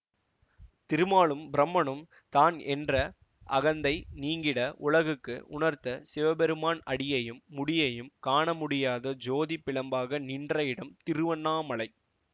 திருமாலும் பிரம்மனும் தான் என்ற அகந்தை நீங்கிட உலகுக்கு உணர்த்த சிவபெருமான் அடியையும் முடியையும் காணமுடியாத ஜோதி பிழம்பாக நின்ற இடம் திருவண்ணாமலை